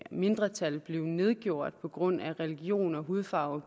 mindretal blev nedgjort på grund af religion og hudfarve